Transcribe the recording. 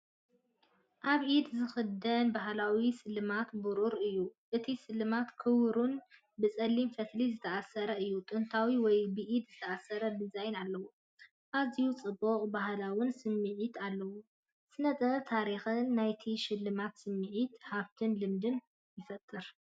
ኣብ ኢድ ዝኽደን ባህላዊ ስልማት ብሩር እዩ። እቲ ስልማት ክቡብን ብጸሊም ፈትሊ ዝተኣስረን እዩ። ጥንታዊ ወይ ብኢድ ዝተሰርሐ ዲዛይን ኣለዎ። ኣዝዩ ጽቡቕን ባህላውን ስምዒት ኣለዎ። ስነ-ጥበብን ታሪኽን ናይቲ ሽልማት ስምዒት ሃብትን ልምድን ይፈጥር።